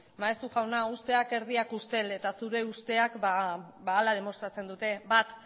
maeztu jauna usteak erdiak ustel eta zure usteak ba hala demostratzen dute bat